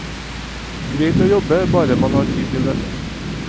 Greit å jobbe, bare man har tid til venner.